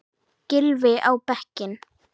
Gylfi á bekkinn?